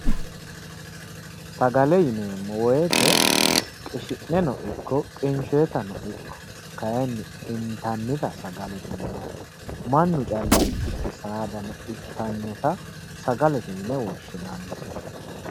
Sagale yineemmo woyiite qishi'neno ikko qinshshoyiitano ikko kayiinni intannita baala sagalete yinanni mannu calla ikkikkinni saadano ittannota sagalete yine woshshinanni